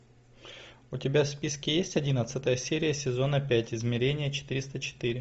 у тебя в списке есть одиннадцатая серия сезона пять измерение четыреста четыре